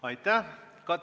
Aitäh!